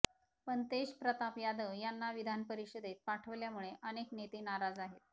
पण तेजप्रताप यादव यांना विधानपरिषदेत पाठवल्यामुळे अनेक नेते नाराज आहेत